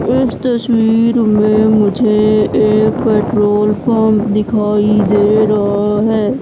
इस तस्वीर में मुझे पेट्रोल पंप दिखाई दे रहा है।